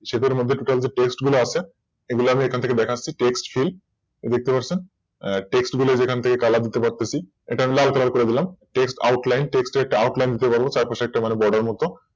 Shape এর মধ্যে যে বিভিন্ন Text গুলা আছে এগুলো আমি এখান থেকে দেখাচ্ছি Text field এই যে দেখতে পারছেন Text গুলো যে এখান থেকে Colour দিতে পারতেছে এটা লাল Colour করে দিলাম Text outline text এর একটা Outline দিতে বলল Text চারপাশে একটা Order মত